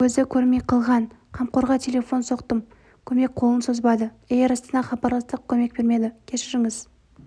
көзі көрмей қалған қамқорға телефон соқтым көмек қолын созбады эйр астанаға хабарластық көмек бермеді кешіріңіз